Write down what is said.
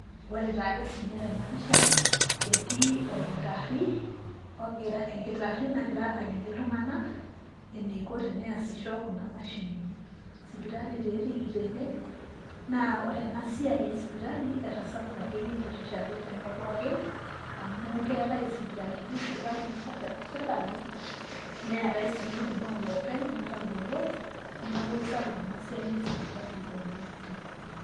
Ore taa ke sininye tena pisha etii orkitari , enkitari nagira aliki iltunganak eneiko tenesisho kuna mashinini. Sipitali taa etiiki tene naa ore ena siai esipitali etasapuka akeyie aitirishaki tenkop pookin ,amu keetae isipitalini kuna natesheta sirkali neetae sii kuna oloopeny natabolo, niaku isapuk ena siai esipitali oleng' tenkop.